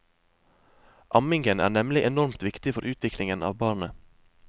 Ammingen er nemlig enormt viktig for utviklingen av barnet.